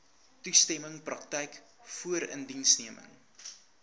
toestemming praktyk voorindiensneming